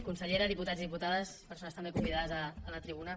consellera diputats i diputades persones també convidades a la tribuna